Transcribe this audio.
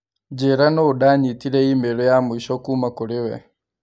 Njĩĩra nũũ ndanyitire i-mīrū ya mũicho kũũma kũrĩ we.